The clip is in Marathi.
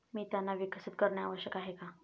मी त्यांना विकसित करणे आवश्यक आहे का?